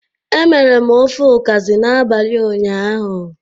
E mere m ofe ukazi n'abalị ụnyaahụ.